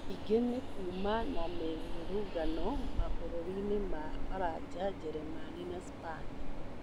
Ningĩ nĩkuma na mĩrũrũngano mabũrũrinĩ ma Faraja, Jeremani na Spain